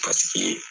Paseke